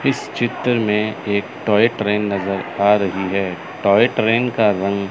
इस चित्र में एक टॉय ट्रेन नजर आ रही हैं टॉय ट्रेन का रंग--